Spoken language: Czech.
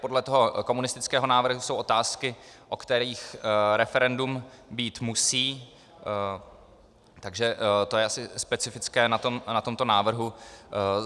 Podle toho komunistického návrhu jsou otázky, o kterých referendum být musí, takže to je asi specifické na tomto návrhu.